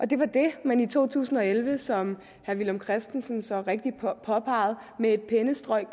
det var det man i to tusind og elleve som herre villum christensen så rigtig påpegede med et pennestrøg